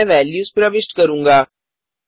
मैं वेल्यूज प्रविष्ट करूँगा